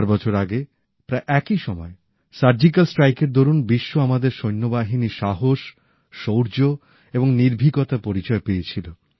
চার বছর আগে প্রায় এই সময়ে সার্জিক্যাল স্ট্রাইকের দরুন বিশ্ব আমাদের সৈন্য বাহিনীর সাহস শৌর্য এবং নির্ভীকতার পরিচয় পেয়েছিল